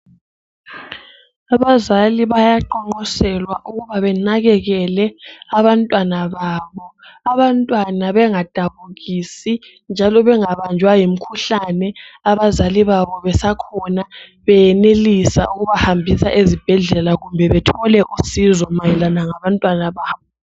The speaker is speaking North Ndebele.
Abazali bayaqonqoselwa ukuba benakekele abantwana babo. Abantwana bengadabukisi njalo bangabanjwa yimikhuhlane abazali babo besakhona beyenelisa ukubahambisa ezibhedlela kumbe bathole usizo mayelana ngabantwana babo.